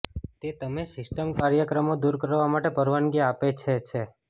તે તમે સિસ્ટમ કાર્યક્રમો દૂર કરવા માટે પરવાનગી આપે છે છે